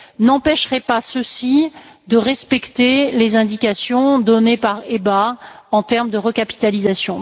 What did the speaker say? n'empêcheraient pas ceux ci de respecter les indications données par l'EBA en termes de recapitalisation.